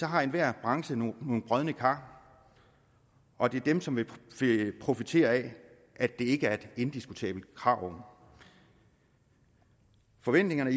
har enhver branche nogle brodne kar og det er dem som vil profitere af at det ikke er et indiskutabelt krav forventningerne